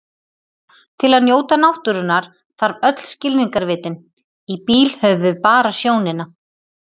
Til að njóta náttúrunnar þarf öll skilningarvitin, í bíl höfum við bara sjónina.